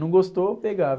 Não gostou, pegava.